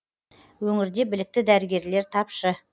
өңірде білікті дәрігерлер тапшы